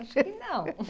Acho que não.